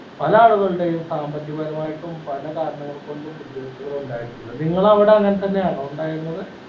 പല ആളുകളുടെയും സാമ്പത്തിക പരമായിട്ടും പല കാരണങ്ങൾ കൊണ്ടും ബുദ്ധിമുട്ടുകൾ ഉണ്ടായിട്ടുണ്ട് നിങ്ങളെ അവിടെ അങ്ങനെ തന്നെ ആണോ ഇണ്ടായിരുന്നത്